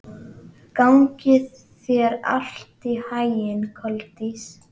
Gangi þér allt í haginn, Koldís.